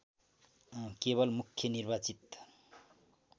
केवल मुख्य निर्वाचन